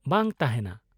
- ᱵᱟᱝ ᱛᱟᱦᱮᱱᱟ ?